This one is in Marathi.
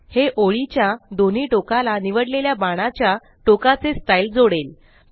हे ओळी च्या दोन्ही टोकाला निवडलेल्या बाणाच्या टोकाचे स्टाइल जोडेल